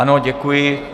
Ano, děkuji.